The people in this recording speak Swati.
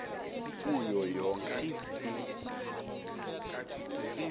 kuyo yonkhe i